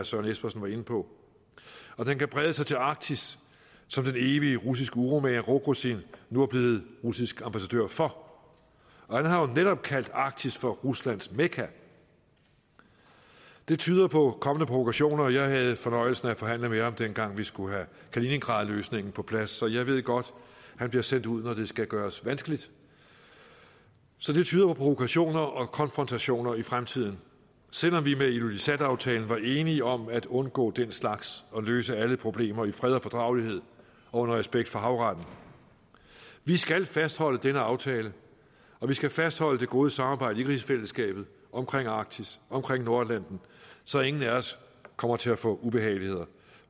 søren espersen var inde på og den kan brede sig til arktis som den evige russiske uromager rogozin nu er blevet russisk ambassadør for han har jo netop kaldt arktis for ruslands mekka og det tyder på kommende provokationer jeg havde fornøjelsen af at forhandle med ham dengang vi skulle have kaliningradløsningen på plads så jeg ved godt at han bliver sendt ud når det skal gøres vanskeligt så det tyder på provokationer og konfrontationer i fremtiden selv om vi med ilulissataftalen var enige om at undgå den slags og løse alle problemer i fred og fordragelighed og under respekt for havretten vi skal fastholde denne aftale og vi skal fastholde det gode samarbejde i rigsfællesskabet om arktis om nordatlanten så ingen af os kommer til at få ubehageligheder